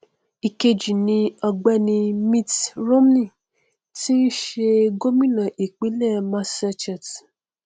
ìkejì ni ọgbẹni mitt romney tí í ṣe gómìnà ìpínlẹ massachusetts